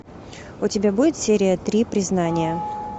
у тебя будет серия три признание